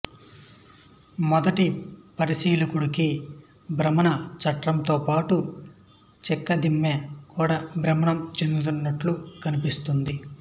మొదటి పరిశీలకుడికి భ్రమణ చట్రంతోపాటు చెక్కదిమ్మ కూడా భ్రమణం చెందుతున్నట్లు కనిపిస్తుంది